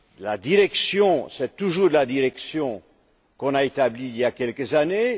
La direction, c'est toujours la direction qui a été établie il y a quelques années.